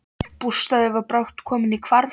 Bústaðurinn var brátt kominn í hvarf.